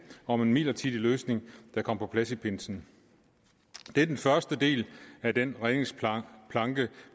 om en midlertidig løsning der kom på plads i pinsen det er den første del af den redningsplanke